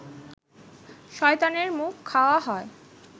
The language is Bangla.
শয়তানের মুত খাওয়া হয়